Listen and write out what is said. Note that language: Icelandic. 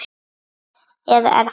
Eða er það?